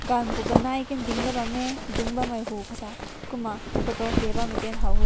kan go ganai ne dink bam mae dun bam pu kumna photo kap bam kum haw weh.